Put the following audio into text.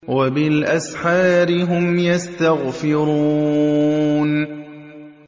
وَبِالْأَسْحَارِ هُمْ يَسْتَغْفِرُونَ